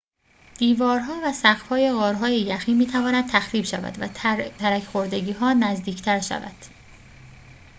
دیوارها و سقف‌های غارهای یخی می‌تواند تخریب شود و ترک خوردگی‌ها نزدیک‌تر شود